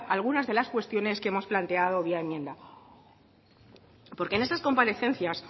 algunas de las cuestiones que hemos planteado vía enmienda porque en esas comparecencias